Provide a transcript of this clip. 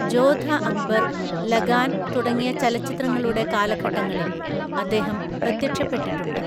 ജോധ അക്ബർ, ലഗാൻ തുടങ്ങിയ ചലച്ചിത്രങ്ങളുടെ കാലഘട്ടങ്ങളിൽ അദ്ദേഹം പ്രത്യക്ഷപ്പെട്ടിട്ടുണ്ട്.